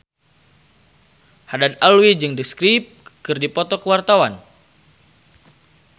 Haddad Alwi jeung The Script keur dipoto ku wartawan